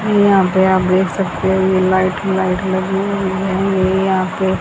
यहां पे आप देख सकते है ये लाइट लाइट लगी हुई है। यहां पे--